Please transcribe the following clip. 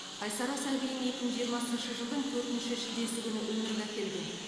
айсара сәбиін екі мың жиырмасыншы жылдың төртінші шілдесі күні өмірге әкелген